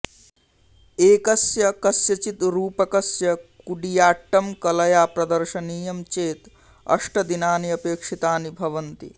एकस्य कस्यचित् रूपकस्य कूडियाट्टं कलया प्रदर्शनीयं चेत् अष्टदिनानि अपेक्षितानि भवन्ति